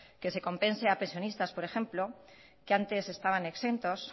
que se compense a pensionistas por ejemplo que antes estaban exentos